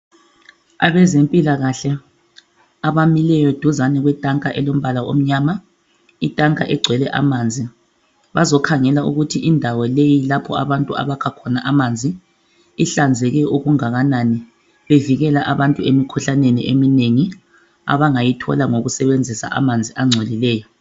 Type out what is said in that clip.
Abezempilakahle abamileyo duzane kwetanka elombala omnyama. Itanka igcwelwe amanzi. Bazokhangela ukuthi indawo leyi lapho abantu abakha khona amanzi, ihlanzeke okungakanani. Bevikela abantu emikhuhlaneni eminengi abangayithola ngokusebenzisa amanzi angcolileyo.